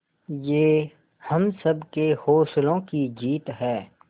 ये हम सबके हौसलों की जीत है